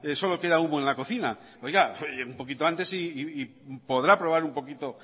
solo queda humo en la cocina oiga un poquito antes y podrá probar un poquito